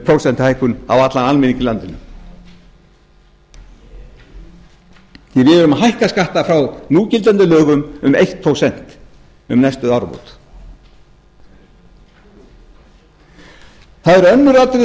prósentuhækkun á allan almenning í landinu við erum að hækka skatta frá núgildandi lögum um eitt prósent um næstu áramót það eru önnur atriði